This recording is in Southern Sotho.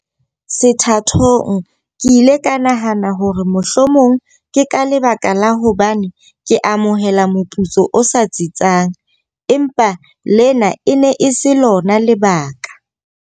Sethathong ke ile ka nahana hore mohlomong ke ka lebaka la hobane ke amohela moputso o sa tsitsang, empa lena e ne e se lona lebaka.